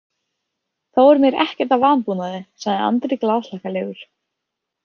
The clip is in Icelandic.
Þá er mér ekkert að vanbúnaði, sagði Andri glaðhlakkalegur.